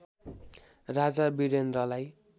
राजा वीरेन्द्रलाई